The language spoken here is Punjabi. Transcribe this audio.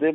ਜੇ